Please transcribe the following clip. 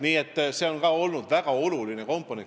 Nii et see on olnud väga oluline komponent.